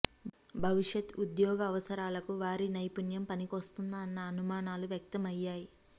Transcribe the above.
భవిష్యత్ ఉద్యోగ అవసరాలకు వారి నైపుణ్యం పనికొస్తుందా అన్న అనుమానాలు వ్యక్తమయ్యాయి